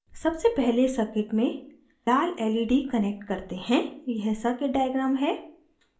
सबसे पहले circuit में लाल led connect करते हैं यह circuit diagram है